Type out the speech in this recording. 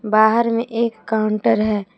बाहर में एक काउंटर है।